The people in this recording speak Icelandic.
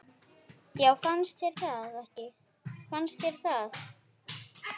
Já fannst þér það?